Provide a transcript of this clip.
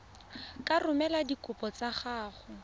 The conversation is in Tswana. ka romela dikopo tsa gago